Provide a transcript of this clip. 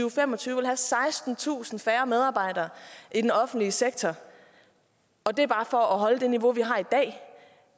og fem og tyve vil have sekstentusind færre medarbejdere i den offentlige sektor og det er bare for at holde det niveau vi har i dag